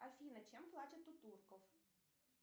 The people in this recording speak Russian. афина чем платят у турков